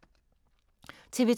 TV 2